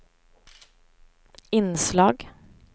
inslag